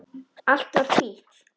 Allt var hvítt.